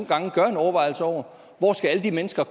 gange gør sig overvejelser over hvor alle de mennesker